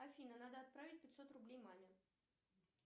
афина надо отправить пятьсот рублей маме